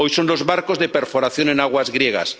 Hoy son los barcos de perforación en aguas griegas.